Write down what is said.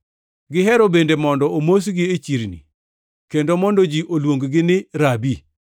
Gihero bende mondo omosgi e chirni, kendo mondo ji oluong-gi ni, ‘Rabi.’ + 23:7 Rabi, tiende ni japuonj.